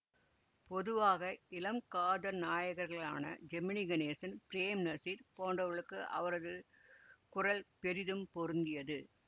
பொதுவாக இளம் காதல் நாயகர்களான ஜெமினிகணேசன் பிரேம்நசீர் போன்றவர்களுக்கு அவரது குரல் பெரிதும் பொருந்தியது